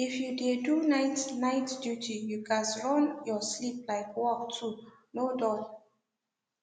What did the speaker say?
if you dey do night night duty you gats run your sleep like work too no dull